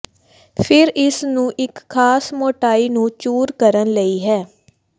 ਫਿਰ ਇਸ ਨੂੰ ਇੱਕ ਖਾਸ ਮੋਟਾਈ ਨੂੰ ਚੂਰ ਕਰਨ ਲਈ ਹੈ